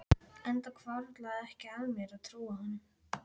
Enda hvarflaði ekki að mér að trúa honum.